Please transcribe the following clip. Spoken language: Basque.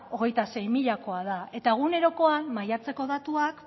hogeita sei milakoa da eta egunerokoan maiatzeko datuak